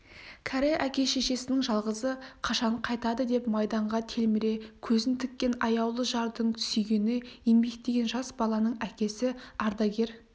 кәрі әке-шешенің жалғызы қашан қайтады деп майданға телміре көзін тіккен аяулы жардың сүйгені еңбектеген жас баланың әкесі ардагер